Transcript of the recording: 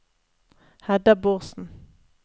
Hedda Bårdsen